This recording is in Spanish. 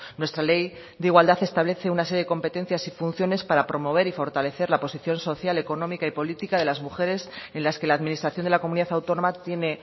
nuestra ley de igualdad establece una serie de competencias y funciones para promover y fortalecer la posición social económica y política de las mujeres en las que la administración de la comunidad autónoma tiene